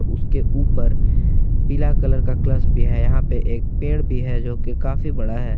उसके ऊपर पीला कलर कलस भी है यहाँ पे एक पेड़ भी है जो कि काफी बड़ा है।